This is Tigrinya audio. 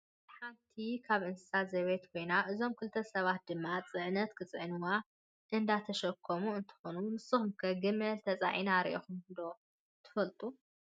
ግመል ሓንቲ ካብ እንስሳ ዘቤት ኮይና እዞም ክልተ ሰባት ድማ ፅዕነት ክፅዕንዋ እንዳተሸከሙ እንትኮኑ፣ ንስኩም ከ ግመል ተፃዒና ሪኢኩም ዶ ትፈልጡ?